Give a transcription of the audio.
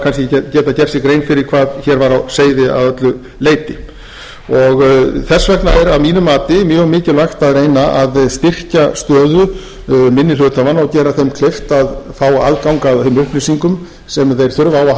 fyrir hvað hér væri á seyði að öllu leyti og þess vegna er að mínu mati mjög mikilvægt að reyna að styrkja stöðu minni hluthafanna og gera þeim kleift að fá aðgang að þeim upplýsingum sem þeir þurfa á að